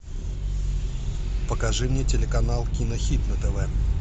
покажи мне телеканал кинохит на тв